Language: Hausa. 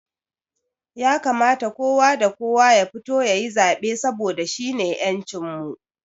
Ya kamata kowa da kowa ya fito yayi zaɓe saboda shine ƴancin mu